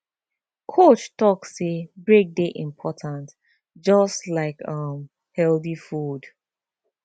coach talk say break dey important just like um healthy food